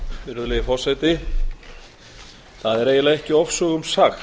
virðulegi forseti það er eiginlega ekki ofsögum sagt